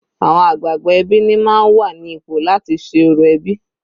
Àwọn àgbààgbà ẹbí ni máa ń wà ní ipò láti ṣe orò ẹbí.